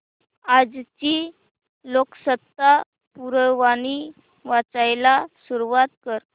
आजची लोकसत्ता पुरवणी वाचायला सुरुवात कर